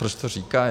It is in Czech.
Proč to říkají?